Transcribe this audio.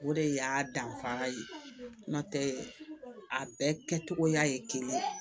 O de y'a danfara ye n'o tɛ a bɛɛ kɛcogoya ye kelen